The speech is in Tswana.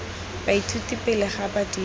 baithuti pele ga ba dira